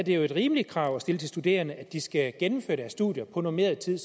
jo et rimeligt krav at stille til studerende at de skal gennemføre deres studier på normeret tid